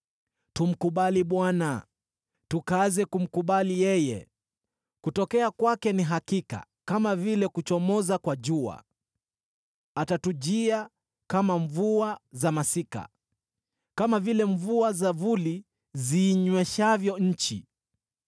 Tumkubali Bwana , tukaze kumkubali yeye. Kutokea kwake ni hakika kama vile kuchomoza kwa jua; atatujia kama mvua za masika, kama vile mvua za vuli ziinyweshavyo nchi.”